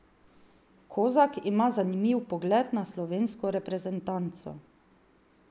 Kozak ima zanimiv pogled na slovensko reprezentanco.